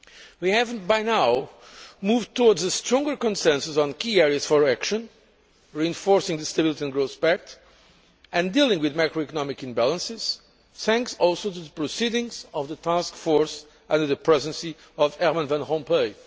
We have, by now, moved towards a stronger consensus on key areas for action, reinforcing the Stability and Growth Pact and dealing with macro economic imbalances, thanks also to the proceedings of the task force under the Presidency of Herman Van Rompuy.